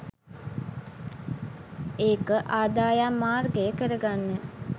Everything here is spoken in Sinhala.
ඒක ආදායම් මාර්ගය කරගන්න